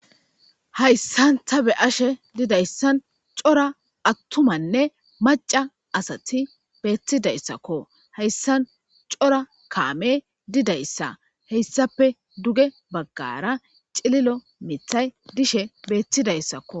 Hayssan ta be7ashe dizayssan cora attumanne macca asati beettidayssako. hayssan cora kaamey didayssa. hessappe duge baggara cililo mithay dishe beettidayssakko.